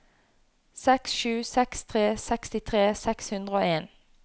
seks sju seks tre sekstitre seks hundre og en